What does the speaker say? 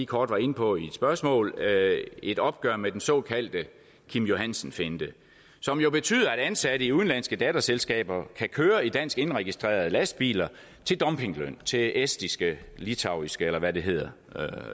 kort var inde på i et spørgsmål et opgør med den såkaldte kim johansen finte som jo betyder at ansatte i udenlandske datterselskaber kan køre i dansk indregistrerede lastbiler til dumpingløn til estiske litauiske eller hvad det hedder